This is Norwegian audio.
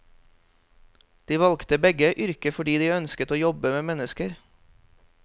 De valgte begge yrket fordi de ønsket å jobbe med mennesker.